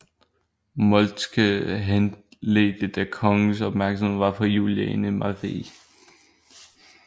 Moltke henledte da kongens opmærksomhed på Juliane Marie